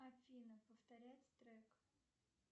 афина повторять трек